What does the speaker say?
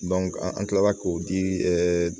an kilala k'o di